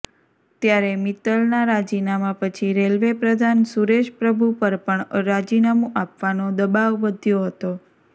ત્યારે મિત્તલના રાજીનામાં પછી રેલ્વે પ્રધાન સુરેશ પ્રભુ પર પણ રાજીનામું આપવાનો દબાવ વધ્યો હતો